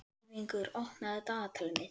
Ylfingur, opnaðu dagatalið mitt.